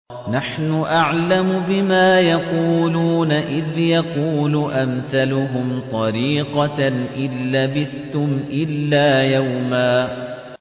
نَّحْنُ أَعْلَمُ بِمَا يَقُولُونَ إِذْ يَقُولُ أَمْثَلُهُمْ طَرِيقَةً إِن لَّبِثْتُمْ إِلَّا يَوْمًا